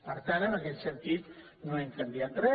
per tant en aquest sentit no hem canviat re